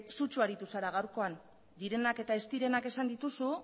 sutsu aritu zara gaurkoan direnak eta ez direnak esan dituzu